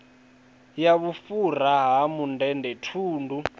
ya vhufhura ha mundende thundu